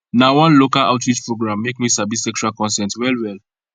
na one local outreach program make me sabi sexual consent well well